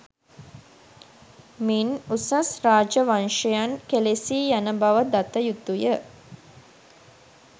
මින් උසස් රාජ වංශයන් කෙළෙසී යන බව දතයුතුය.